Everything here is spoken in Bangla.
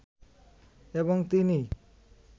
এবং তিনিই